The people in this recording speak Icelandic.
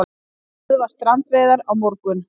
Stöðva strandveiðar á morgun